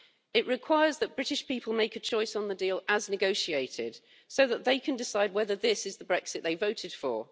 it requires that British people make a choice on the deal as negotiated so that they can decide whether this is the Brexit they voted for.